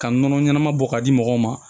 Ka nɔnɔ ɲɛnama bɔ ka di mɔgɔw ma